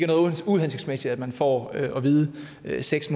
noget uhensigtsmæssigt at man får at vide at det er seks